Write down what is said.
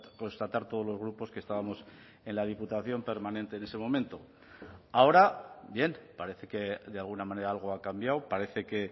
constatar todos los grupos que estábamos en la diputación permanente en ese momento ahora bien parece que de alguna manera algo ha cambiado parece que